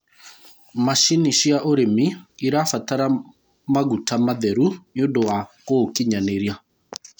macinĩ cia ũrĩmi irabatara maguta matheru nĩũndũ wa gũũkĩnyanĩria